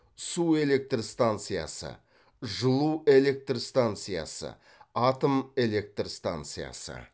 су электр станциясы жылу электр станциясы атом электр станциясы